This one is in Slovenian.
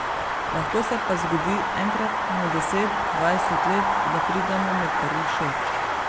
Lahko se pa zgodi enkrat na deset, dvajset let, da pridemo med prvih šest.